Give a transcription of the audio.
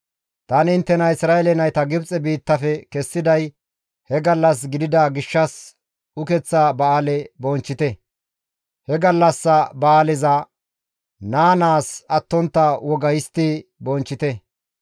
«Tani inttena Isra7eele nayta Gibxe biittafe kessiday he gallas gidida gishshas Ukeththa ba7aale bonchchite. He gallassa ba7aaleza naa naas attontta woga histti bonchchite.